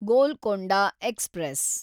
Golconda express